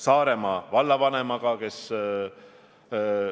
Siis on võimalik piirata avalikke koosolekuid ja muid avalikke üritusi eriolukorra piirkonnas.